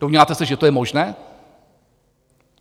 Domníváte se, že to je možné?